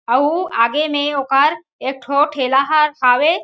अउ आगे में ओकर एक ठो ठेला ह हावे।